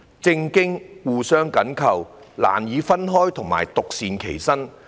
政治和經濟互相緊扣，難以分開及獨善其身。